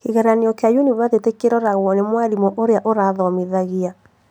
Kĩgeranio kĩa yunibathĩtĩ kĩroragwo nĩ mwarimũ ũrĩa ũrathomithagia